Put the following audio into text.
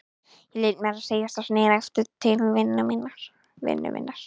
Ég lét mér segjast og sneri aftur til vinnu minnar.